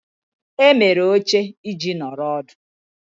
Emere oche iji nọrọ ọdụ.